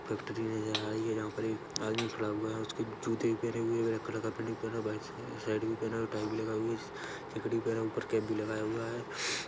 Factory नज़र आ रही है जहाँ पर एक आदमी खड़ा हुआ है उसके जूते भी पहने हुए है ब्लैक कलर का पैंट भी पहना है वाइट शर्ट भी पहना है टाई भी लगाई हुई है जैकेट भी पेहेना ऊपर कैप भी लगाया हुआ है।